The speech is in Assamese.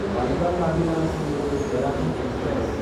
বান্দ্ৰা টাৰ্মিনাছ–দেৰাদুন এক্সপ্ৰেছ